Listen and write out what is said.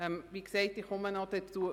Wie gesagt, komme ich noch dazu.